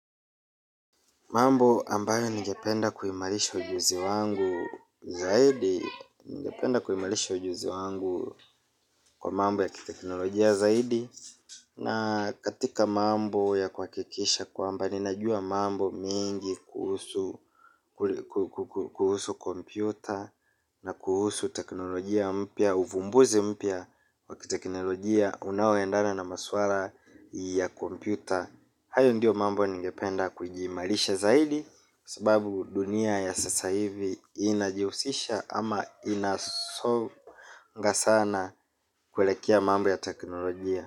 Mambo ambayo nigependa kuimarisha ujuzi wangu zaidi, ningependa kuimarisha ujuzi wangu kwa mambo ya kiteknolojia zaidi na katika mambo ya kuhakikisha kwamba ninajua mambo mengi kuhusu kompyuta. Na kuhusu teknolojia mpya, uvumbuzi mpya wa kiteknolojia unaoendana na maswala ya kompyuta. Hayo ndio mambo ningependa kujiimarisha zaidi. Sababu dunia ya sasa hivi inajihusisha ama inasonga sana kuelekea mambo ya teknolojia.